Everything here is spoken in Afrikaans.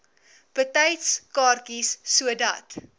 betyds kaartjies sodat